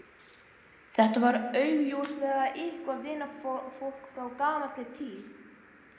Þetta var augljóslega eitthvert vinafólk frá gamalli tíð.